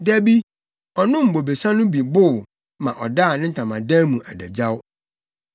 Da bi, ɔnom bobesa no bi bow ma ɔdaa ne ntamadan mu adagyaw.